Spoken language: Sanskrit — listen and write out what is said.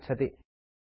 सम्पर्कार्थं धन्यवादः